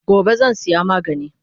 Gobe zan saya magani